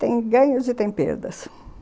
Tem ganhos e tem perdas.